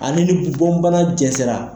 Ale ni bɔn bana jɛnsɛra.